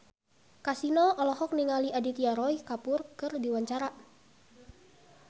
Kasino olohok ningali Aditya Roy Kapoor keur diwawancara